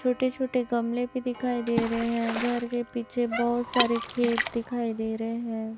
छोटे छोटे गमले भी दिखाई दे रहे हैं घर के पीछे बहुत सारे खेत दिखाई दे रहे हैं।